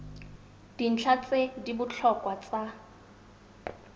dintlha tse di botlhokwa tsa